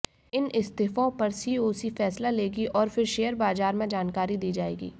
इन इस्तीफों पर सीओसी फैसला लेगी और फिर शेयर बाजार को जानकारी दी जाएगी